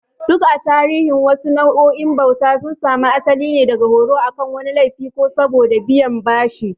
Duk a tarihi, wasu nau'o'in bauta sun samu asali ne daga horo akan wani laifi ko saboda biyan bashi.